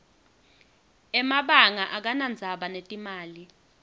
emabanga akanadzaba netimali